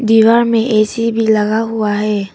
दीवार में ए_सी लगा हुआ है।